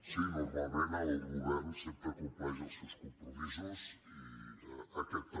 sí normalment el govern sempre compleix els seus com·promisos i aquest també